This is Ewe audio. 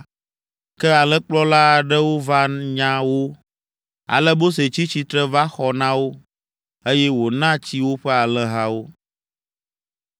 Ke alẽkplɔla aɖewo va nya wo. Ale Mose tsi tsitre va xɔ na wo, eye wòna tsi woƒe alẽhawo.